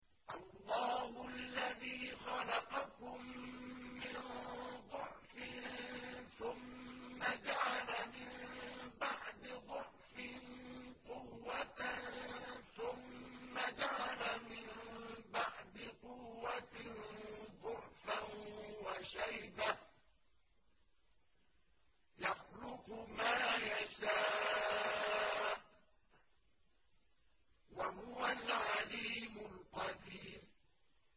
۞ اللَّهُ الَّذِي خَلَقَكُم مِّن ضَعْفٍ ثُمَّ جَعَلَ مِن بَعْدِ ضَعْفٍ قُوَّةً ثُمَّ جَعَلَ مِن بَعْدِ قُوَّةٍ ضَعْفًا وَشَيْبَةً ۚ يَخْلُقُ مَا يَشَاءُ ۖ وَهُوَ الْعَلِيمُ الْقَدِيرُ